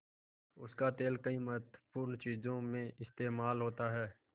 उसका तेल कई महत्वपूर्ण चीज़ों में इस्तेमाल होता है